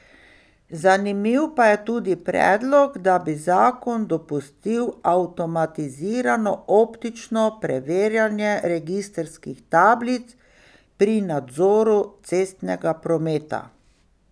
Zanimiv pa je tudi predlog, da bi zakon dopustil avtomatizirano optično preverjanje registrskih tablic pri nadzoru cestnega prometa.